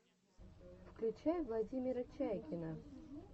включай владимира чайкина